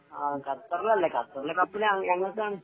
ആ ഖത്തറില് അല്ലേ ഖത്തർ ലോക കപ്പ് ഞങ്ങൾക്ക് ആണ്